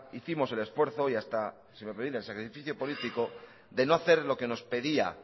hicimos el esfuerzo y hasta si me permiten sacrificio político de no hacer lo que nos pedía